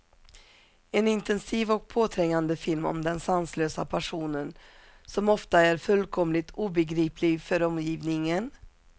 En intensiv och påträngande film om den sanslösa passionen, som ofta är fullkomligt obegriplig för omgivningen.